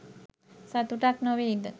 සතුටක් නොවෙයිද?